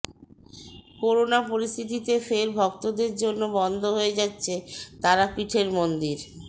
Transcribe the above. corona পরিস্থিতিতে ফের ভক্তদের জন্য বন্ধ হয়ে যাচ্ছে তারাপীঠের মন্দির